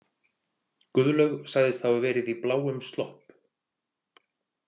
Guðlaug sagðist hafa verið í bláum slopp.